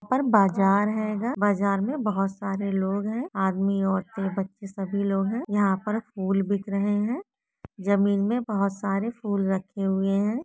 पर बाजार रहेगा बाजार में बहुत सारे लोग हैं आदमी औरतें बच्चे सभी लोग हैं यहां पर फूल बिक रहे हैं जमीन में बहुत सारे फूल रखे हुए हैं।